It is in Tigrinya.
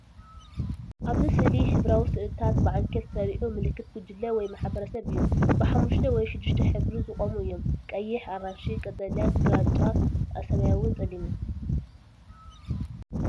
ኣብዚ ስእሊ ሕብራዊ ስእልታት ብዓንኬል ተሰሪዑ፡ ምልክት ጉጅለ ወይ ማሕበረሰብ እዩ። ብሓሙሽተ ወይ ሽዱሽተ ሕብሪ ዝቖሙ እዮም። ቀይሕ፡ ኣራንሺ፡ ቀጠልያ፡ ግራጭ፡ ሰማያውን ጸሊምን።